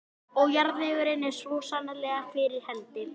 Og jarðvegurinn er svo sannarlega fyrir hendi.